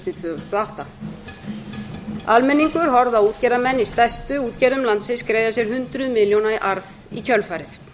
og átta almenningur horfði á útgerðarmenn í stærstu útgerðum landsins greiða sér hundruð milljóna í arð í kjölfarið